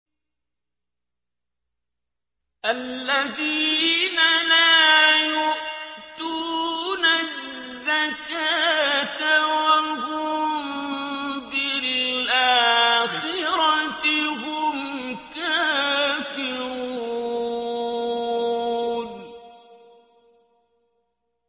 الَّذِينَ لَا يُؤْتُونَ الزَّكَاةَ وَهُم بِالْآخِرَةِ هُمْ كَافِرُونَ